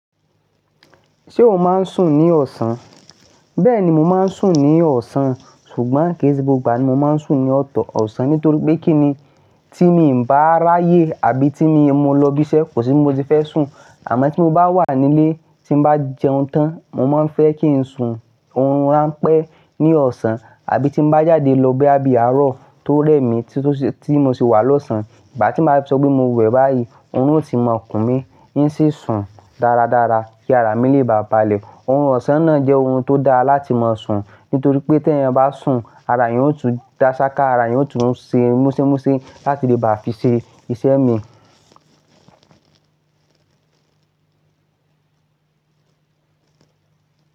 Ṣé o máa ń sùn ní ọ̀sán? Bẹ́ẹ̀ni, mó máa ń sùn ní ọ̀sán ṣùgbọ́n kì ṣe gbógbó ìgbà ní mó máa ń sùn ní ọ̀tọ̀ ọ̀sán nítorí pé kí ni tí mi ò bá ráyè àbí tí mo lọ ibi iṣẹ́ kò sí mo ti fẹ́ sùn, àmọ́ tí mo bá wà nílé tí bá jẹun tán mo máa ń fẹ́ kí ń sùn oórun rán pẹ́ ní ọ̀sán àbí tí bá jáde lọ bé abiyàárọ̀ tó rẹ́ mi tí mo sì wá lọ̀sán ìgbà tí màá sọ pé mo wẹ̀ báyìí oórun ó ti mọ̀ ọkùn mi yín ṣé sùn dáradára kí árá mi lè bà balẹ̀. Orùn ọ̀sán náà jẹ́ ohun tó dáa láti máa sùn nítorí pé tí ẹ̀yin bá sùn ara yín ó tún dá ṣá ká ara yín ó tún ṣe mósémósé láti lè bá fi ṣe iṣẹ́ mi.